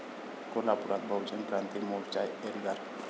कोल्हापुरात बहुजन क्रांती मोर्च्याचा एल्गार